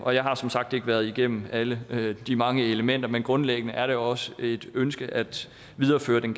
og jeg har som sagt ikke været igennem alle de mange elementer men grundlæggende er det også et ønske at videreføre den